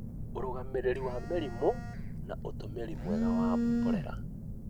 ũrũgamĩrĩri wa mĩrimũ, na ũtũmĩri mwega wa mborera